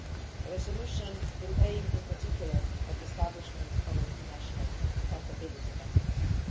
The resolution will aim in particular to establish an international accountability mechanism.